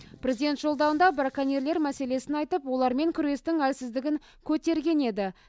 президент жолдауында браконьерлер мәселесін айтып олармен күрестің әлсіздігін көтерген еді